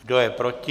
Kdo je proti?